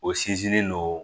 O sinsinnen don